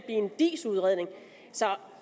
en diis udredning så